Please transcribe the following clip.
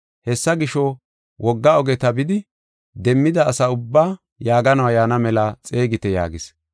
Hessa gisho, wogga ogeta bidi, demmida asi ubbaa yaaganuwa yaana mela xeegite’ yaagis.